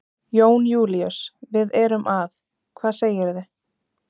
Jón Júlíus, við erum að. hvað segirðu?